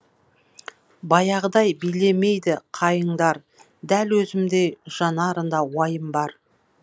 баяғыдай билемейді қайыңдар дәл өзімдей жанарында уайым бар